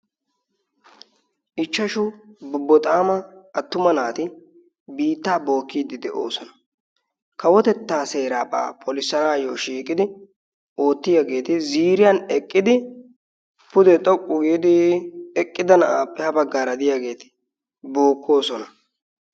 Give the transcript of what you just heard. Ichchashu bobboxaama attuma naati biittaa bookkiiddi de'oosona. kawotettaa seeraabaa polissanaayyo shiiqidi oottiyaageeti ziriyan eqqidi pudee xoqqu giidi eqqida na'aappe ha baggaa radiyaageeti bookkoosona.